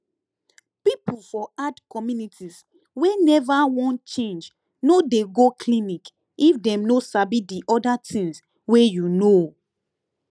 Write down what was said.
people for hard communities wey never wan change no dey go clinic if dem no sabi the other things wey you know